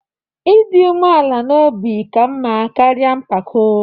Ịdị umeala n'obi ka mma karịa mpako.